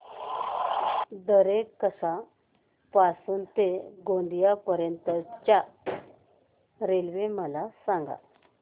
दरेकसा पासून ते गोंदिया पर्यंत च्या रेल्वे मला सांगा